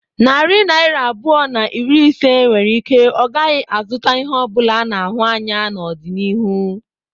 Narị naira abụọ na iri ise nwere ike ọ gaghị azụta ihe ọ bụla a na-ahụ anya n'ọdịnihu.